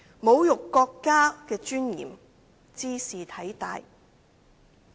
侮辱國家的尊嚴，茲事體大。